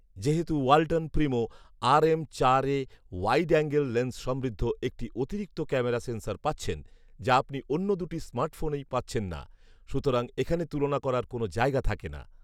যেহেতু Walton Primo RM চার এ ওয়াইড অ্যাঙ্গেল লেন্স সমৃদ্ধ একটি অতিরিক্ত ক্যামেরা সেন্সর পাচ্ছেন, যা আপনি অন্য দুটি স্মার্টফোনেই পাচ্ছেন না; সুতরাং এখানে তুলনা করার কোনও জায়গা থাকে না